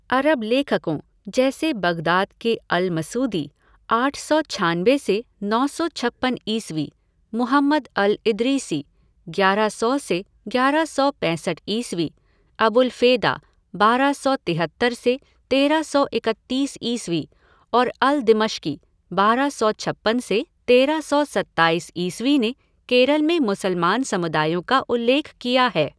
अरब लेखकों, जैसे बग़दाद के अल मसूदी, आठ सौ छानबे से नौ सौ छप्पन ईस्वी, मुहम्मद अल इदरीसी, ग्यारह सौ से ग्यारह सौ पैंसठ ईस्वी, अबुलफ़ेदा, बारह सौ तिहत्तर से तेरह सौ इकतीस ईस्वी और अल दिमश्की, बारह सौ छप्पन से तेरह सौ सत्ताईस ईस्वी ने केरल में मुसलमान समुदायों का उल्लेख किया है।